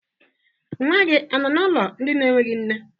Nwa gị anọ n'ụlọ ndị enweghi nne?